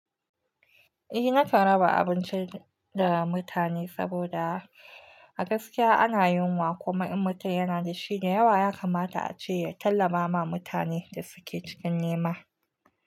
Eh, na kan raba abinci da mutane saboda a gaskiya ana yunwa kuma in mutum yana da shi da yawa, ya kamata a ce ya tallaba ma mutanen da suke cikin nema.